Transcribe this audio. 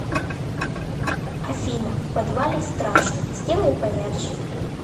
афина в подвале страшно сделай поярче